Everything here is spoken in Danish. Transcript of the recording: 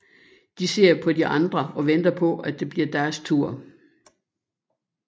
De ser på de andre og venter på at det bliver deres tur